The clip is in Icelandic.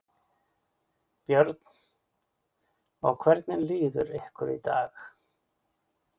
Björn: Og hvernig líður ykkur í dag?